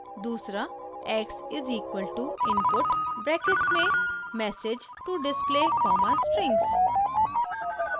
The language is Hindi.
दूसरा x= input ब्रैकेट्स में message to display strings